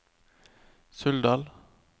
Suldal